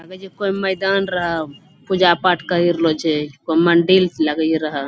लागै छे कोय मैदान रहअ पूजा-पाठ कर रहलो छे कोय मंदिर लगै रहअ ।